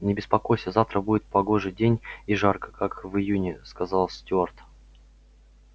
не беспокойся завтра будет погожий день и жарко как в июне сказал стюарт